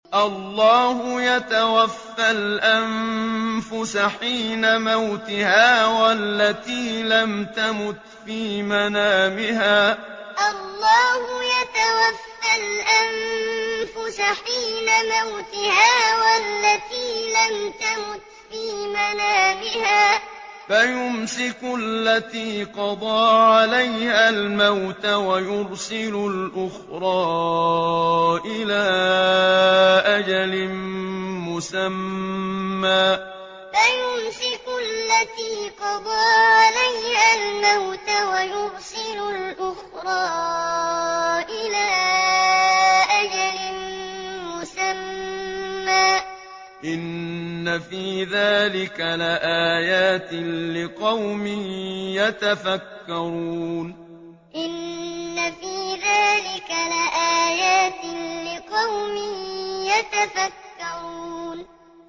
اللَّهُ يَتَوَفَّى الْأَنفُسَ حِينَ مَوْتِهَا وَالَّتِي لَمْ تَمُتْ فِي مَنَامِهَا ۖ فَيُمْسِكُ الَّتِي قَضَىٰ عَلَيْهَا الْمَوْتَ وَيُرْسِلُ الْأُخْرَىٰ إِلَىٰ أَجَلٍ مُّسَمًّى ۚ إِنَّ فِي ذَٰلِكَ لَآيَاتٍ لِّقَوْمٍ يَتَفَكَّرُونَ اللَّهُ يَتَوَفَّى الْأَنفُسَ حِينَ مَوْتِهَا وَالَّتِي لَمْ تَمُتْ فِي مَنَامِهَا ۖ فَيُمْسِكُ الَّتِي قَضَىٰ عَلَيْهَا الْمَوْتَ وَيُرْسِلُ الْأُخْرَىٰ إِلَىٰ أَجَلٍ مُّسَمًّى ۚ إِنَّ فِي ذَٰلِكَ لَآيَاتٍ لِّقَوْمٍ يَتَفَكَّرُونَ